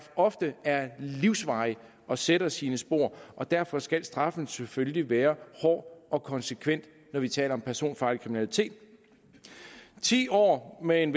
ofte er livsvarige og sætter sine spor og derfor skal straffen selvfølgelig være hård og konsekvent når vi taler om personfarlig kriminalitet ti år med en